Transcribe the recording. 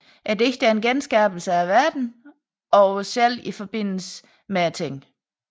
Digtet er en genskabelse af verden og os selv i forbindelse med tingene